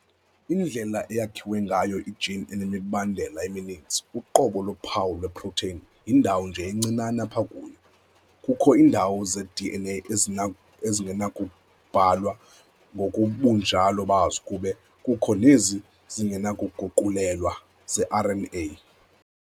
Indlela eyakhiwe ngayo i-gene inemibandela emininzi- Uqobo lophawu lwe-protein yindawo nje encinane apha kuyo. Kukho iindawo ze-DNA ezingenakubhalwa ngobunjalo bazo kube kukho nezi zingenakuguqulelwa ze-RNA